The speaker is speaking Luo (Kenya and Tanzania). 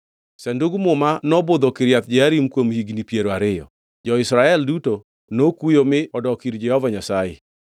Sandug Muma nobudho Kiriath Jearim kuom higni piero ariyo, jo-Israel duto nokuyo mi odok ir Jehova Nyasaye.